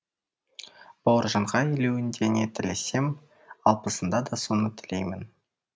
бауыржанға елуінде не тілесем алпысында да соны тілеймін